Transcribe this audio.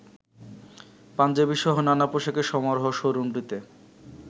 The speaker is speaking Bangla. পাঞ্জাবিসহ নানা পোশাকে সমারহ শোরুমটিতে